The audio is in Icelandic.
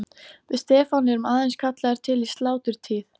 Við Stefán erum aðeins kallaðir til í sláturtíð.